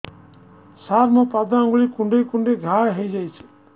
ସାର ମୋ ପାଦ ଆଙ୍ଗୁଳି କୁଣ୍ଡେଇ କୁଣ୍ଡେଇ ଘା ହେଇଯାଇଛି